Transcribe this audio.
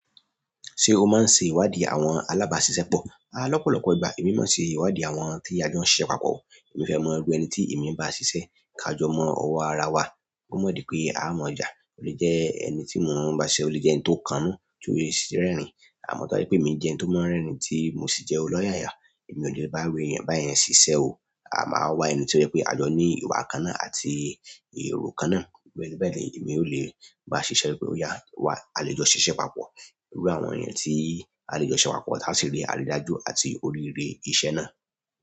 Ṣé o máa ń ṣe ìwádìí àwọn alábàásisẹ́pọ̀? Lọ́pọ̀lọ́pọ̀ ìgbà. Èmi máa ń ṣe ìwádìí àwọn tí a jọ ń siṣẹ̀ papọ̀. Èmi fẹ́ mọ ẹrú ẹni tí èmi ń bá ṣiṣẹ́. Ká jọ mọ ọwọ́ ara wa, kó mọ̀ pé à á mọ̀ jà. O le jẹ ẹni ti mo n ba ṣiṣẹ o le jẹ ẹni to kannu ti o si rerin. A mọ̀ tá bá jẹ pé èmi jẹ́ ẹni tó máa rẹ́rìn-ín tí mo sì jẹ́ olóyàyà. Èmi ò ní lè bá iru èèyàn báyẹn ṣiṣẹ́ o. Máa wá ẹni tó jẹ pé a jọ ní ìwà kan náà àti èrò kan náà. Iru ẹni bẹ́ẹ̀ ni èmi ò lè bá ṣiṣẹ́. Ó yà wá, a lè jọ ṣiṣẹ́ papọ̀. Ẹrú àwọn èèyàn tí a lè jọ ṣiṣẹ papọ̀, ti a sì rí àrídájú àti oríire iṣẹ́ náà.